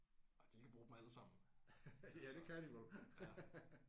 Og de kan bruge dem alle sammen så ja